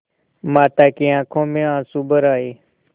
माता की आँखों में आँसू भर आये